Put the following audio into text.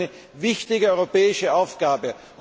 Ich glaube, dies ist eine wichtige europäische Aufgabe.